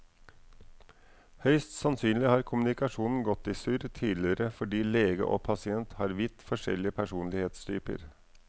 Høyst sannsynlig har kommunikasjonen gått i surr tidligere fordi lege og pasient har vidt forskjellig personlighetstyper.